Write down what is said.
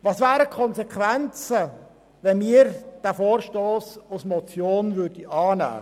Welche Konsequenzen hätte es zur Folge, wenn wir diesen Vorstoss als Motion annehmen würden?